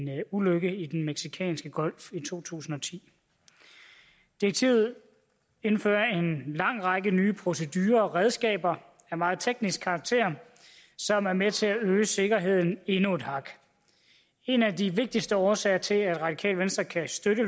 ulykke i den mexikanske golf i to tusind og ti direktivet indfører en lang række nye procedurer og redskaber af meget teknisk karakter som er med til at øge sikkerheden endnu et hak en af de vigtigste årsager til at radikale venstre kan støtte